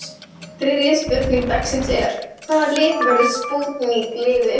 Þriðja spurning dagsins er: Hvaða lið verður spútnik liðið?